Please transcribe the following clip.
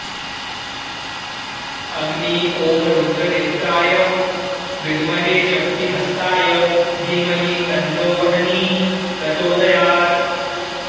अग्नि ॐ रुद्रनेत्राय विद्महे शक्तिहस्ताय धीमहि तन्नो वह्निः प्रचोदयात्